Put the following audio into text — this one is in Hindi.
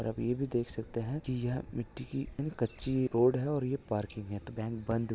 और आप यह भी देख सकते हैं कि यह मिट्टी की कच्ची रोड है और यह पार्किंग है तो बैंक बंद--